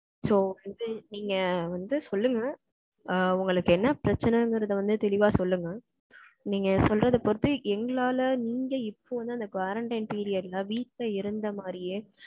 So, வந்து நீங்க வந்து, சொல்லுங்க. ஆ, உங்களுக்கு, என்ன பிரச்சனைங்கிறதை வந்து, தெளிவா சொல்லுங்க. நீங்க சொல்றதை பொறுத்து, எங்களால, நீங்க, இப்ப வந்து, அந்த quarantine period ல, வீட்டுல இருந்த மாரியே,